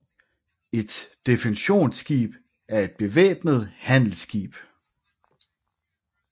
Et defensionsskib var et bevæbnet handelsskib